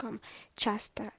часы